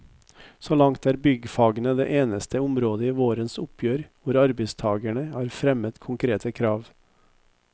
Så langt er byggfagene det eneste området i vårens oppgjør hvor arbeidstagerne har fremmet konkrete krav.